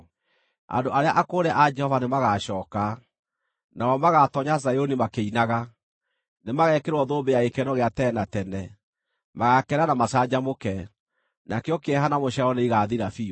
Andũ arĩa akũũre a Jehova nĩmagacooka. Nao magaatoonya Zayuni makĩinaga; nĩmagekĩrwo thũmbĩ ya gĩkeno gĩa tene na tene. Magaakena na macanjamũke, nakĩo kĩeha na mũcaayo nĩigathira biũ.